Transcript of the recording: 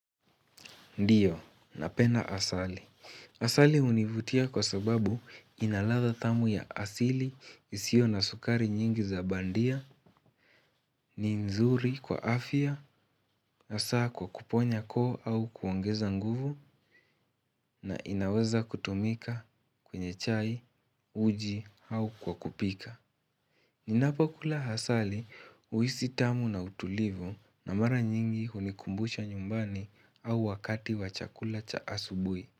Ndiyo, napenda asali. Asali hunivutia kwa sababu ina ladha tamu ya asili, isiyo na sukari nyingi za bandia, ni nzuri kwa afya, hasa kwa kuponya koo au kuongeza nguvu na inaweza kutumika kwenye chai, uji au kwa kupika. Ninapo kula asali, huhisi tamu na utulivu na mara nyingi hunikumbusha nyumbani au wakati wa chakula cha asubuhi.